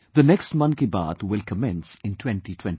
The next Mann Ki Baat will commence in 2021